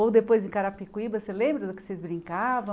Ou depois em Carapicuíba, você lembra do que vocês brincavam?